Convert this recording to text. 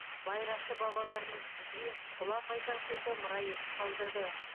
байрақты бабалармыз бізге ұлан байтақ жерді мұра етіп қалдырды